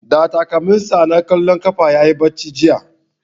Da takalmin sa na ƙwallon ƙafa yayi bacci jiya